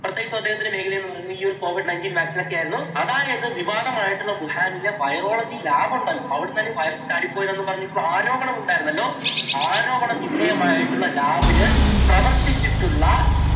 പ്രത്യേകിച്ച് അദ്ദേഹത്തിൻറെ മേഖല എന്നു പറയുന്നത് ഈ ഒരു covid ninteteen vaccine ഒക്കെ ആയിരുന്നു. അതായത് വിവാദം ആയിട്ടുള്ള വുഹാനിലെ virology lab ഉണ്ടല്ലോ. അവിടെ നിന്നാണ് ഈ വൈറസ് ചാടി പോയത് എന്നു പറഞ്ഞു ഇപ്പോൾ ആരോപണം ഉണ്ടായിരുന്നല്ലോ. ആരോപണ വിധേയമായിട്ടുള്ള lab ൽ പ്രവർത്തിച്ചിട്ടുള്ള